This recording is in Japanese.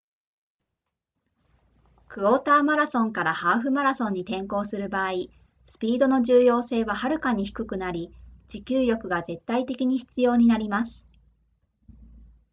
クォーターマラソンからハーフマラソンに転向する場合スピードの重要性ははるかに低くなり持久力が絶対的に必要になります